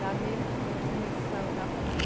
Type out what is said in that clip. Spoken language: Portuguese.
Lá mesmo que foi o primeiro que saiu de lá foi nós.